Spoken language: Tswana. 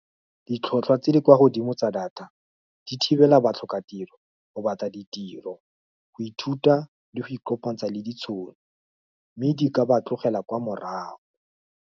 Ditlhotlhwa tse di kwa godimo tsa data di thibela batlhokatiro go batla ditiro, go ithuta le go ikopantsha le ditshono, mme di ka ba tlogela kwa morago.